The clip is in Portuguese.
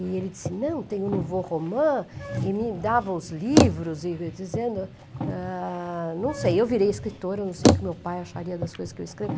E ele disse, não, tem o Nouveau Roman, e me dava os livros, e eu dizendo, ah, não sei, eu virei escritora, não sei o que meu pai acharia das coisas que eu escrevo.